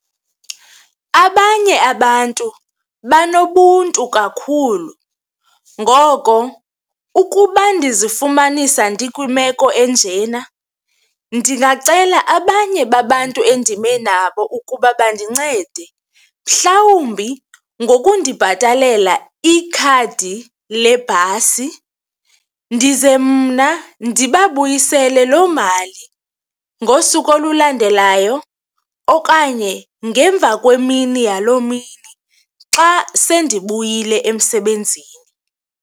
Abanye abantu banobuntu kakhulu ngoko ukuba ndizifumanisa ndikwimeko enjena, ndingacela abanye babantu endime nabo ukuba bandincede mhlawumbi ngokundibhatalela ikhadi lebhasi ndize mna ndibabuyisele loo mali ngosuku olulandelayo okanye ngemvakwemini yaloo mini xa sendibuyile emsebenzini.